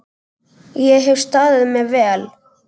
Ég hef staðið mig vel.